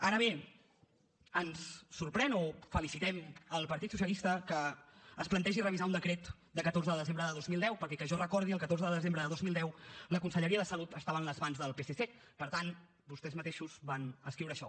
ara bé ens sorprèn o felicitem el partit socialista que es plantegi revisar un decret de catorze de desembre de dos mil deu perquè que jo recordi el catorze de desembre de dos mil deu la conselleria de salut estava en les mans del psc per tant vostès mateixos van escriure això